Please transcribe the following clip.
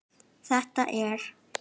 Þetta er.